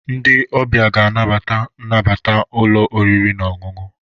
Ndị ọbịa ga-anabata nnabata ụlọ oriri na ọṅụṅụ.